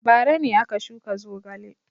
Bara ne aka shuka zogale.